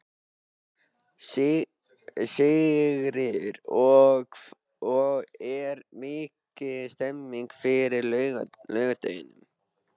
Sigríður: Og er mikil stemning fyrir laugardeginum?